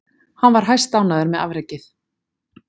Hann var hæstánægður með afrekið.